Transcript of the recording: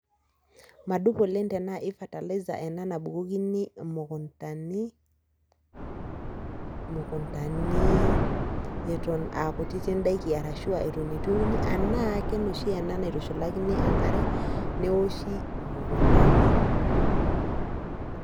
madup oleng tenaa kefatalaisa nabukokini imukuntani eton aa kutitik intokitin teenaa enoshi naitushulakini engare newoshi imukundani.